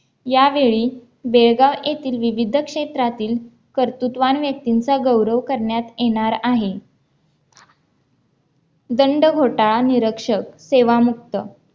यावेळी बेळगाव येथील विविध क्षेत्रातील कर्तुत्वान व्यक्तींचा गौरव करण्यात येणार आहे दंड घोटाळा निरक्षक सेवा मुक्त